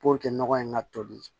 nɔgɔ in ka toli